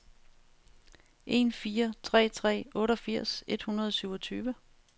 en fire tre tre otteogfirs et hundrede og syvogtyve